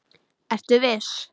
Ertu viss?